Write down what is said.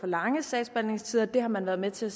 lange sagsbehandlingstider det har man været med til at